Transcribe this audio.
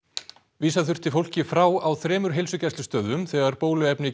vísa þurfti fólki frá á þremur heilsugæslustöðvum þegar bóluefni